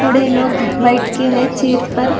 लोग बैठ के है चेयर्स पर।